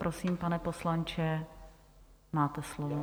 Prosím, pane poslanče, máte slovo.